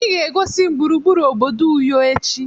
Ị ga-egosi m gburugburu obodo Uyo echi.